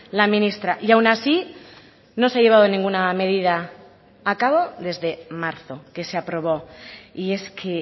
la ministra y aun así no se ha llevado ninguna medida a cabo desde marzo que se aprobó y es que